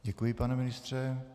Děkuji, pane ministře.